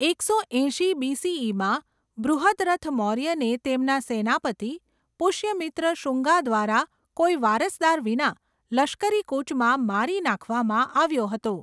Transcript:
એકસો એંશી બીસીઈમાં, બૃહદ્રથ મૌર્યને તેમના સેનાપતિ, પુષ્યમિત્ર શુંગા દ્વારા કોઈ વારસદાર વિના લશ્કરી કૂચમાં મારી નાખવામાં આવ્યો હતો.